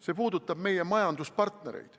See puudutab ka meie majanduspartnereid.